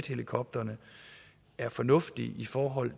helikopterne er fornuftige i forhold